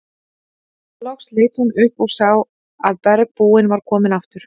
Loks leit hún upp og sá að bergbúinn var kominn aftur.